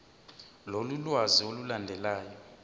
lolu lwazi olulandelayo